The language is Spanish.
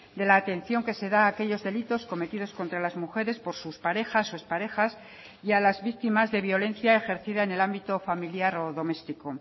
de la atención que se da a aquellos delitos cometidos contra las mujeres por sus parejas o exparejas y a las víctimas de violencia ejercida en el ámbito familiar o doméstico